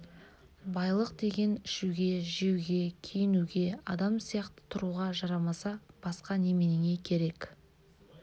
байлық деген ішуге жеуге киінуге адам сияқты тұруға жарамаса басқа неменеңе керек